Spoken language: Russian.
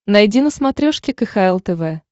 найди на смотрешке кхл тв